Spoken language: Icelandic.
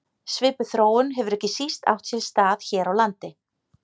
Svipuð þróun hefur ekki síst átt sér stað hér á landi.